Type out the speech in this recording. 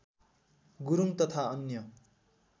गुरुङ तथा अन्य